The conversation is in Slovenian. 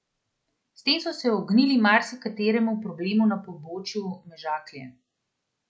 S tem so se ognili marsikateremu problemu na pobočju Mežaklje.